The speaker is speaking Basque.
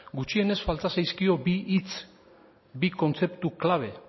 gutxienez falta zaizkio bi hitz bi kontzeptu klabe